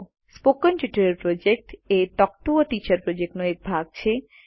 spoken tutorial project એ talk to a teacher પ્રોજેક્ટનો એક ભાગ છે